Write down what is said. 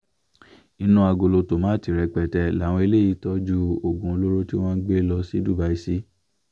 inú agolo tomato rẹpẹtẹ làwọn eléyìí tọ́jú oògùn olóró tí wọ́n ń gbé lọ sí dubai sí